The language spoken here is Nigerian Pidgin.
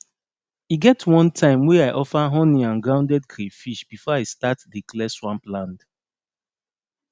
e get one time wey i offer honey and grounded crayfish before i start dey clear swamp land